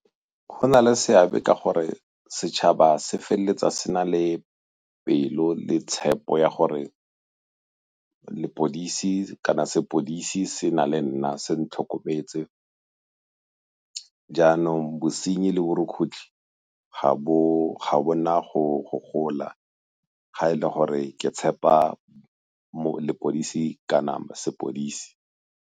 Go na le seabe ka gore setšhaba se feleletsa se na le pelo le tshepo ya gore lepodisi kana sepodisi se na le nna se ntlhokometse, jaanong bosenyi le borukgutlhi ga bo na go gola ga e le gore ke tshepa lepodisi ka nama sepodisi.